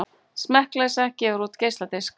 Smekkleysa gefur út geisladisk